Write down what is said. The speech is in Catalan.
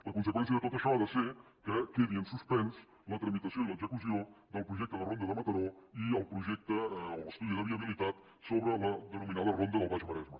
la conseqüència de tot això ha de ser que quedi en suspens la tramitació i l’execució del projecte de ronda de mataró i el projecte o l’estudi de viabilitat sobre la denominada ronda del baix maresme